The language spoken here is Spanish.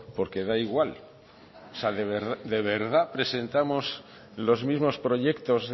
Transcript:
porque da igual o sea de verdad presentamos los mismos proyectos